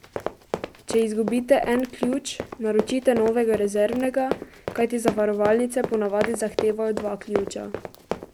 Če izgubite en ključ, naročite novega rezervnega, kajti zavarovalnice po navadi zahtevajo dva ključa.